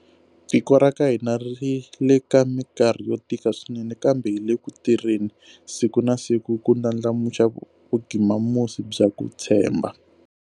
Tiko ra ka hina ri le ka mikarhi yo tika swinene, kambe hi le ku tirheni siku na siku ku ndlandlamuxa vugimamusi bya ku tshemba.